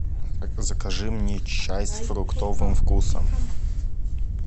закажи мне чай с фруктовым вкусом